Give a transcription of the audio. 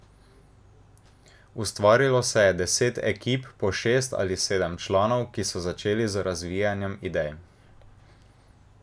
Ustvarilo se je deset ekip po šest ali sedem članov, ki so začeli z razvijanjem idej.